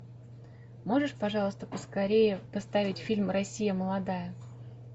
можешь пожалуйста поскорее поставить фильм россия молодая